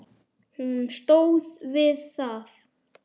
Hún stóð við það!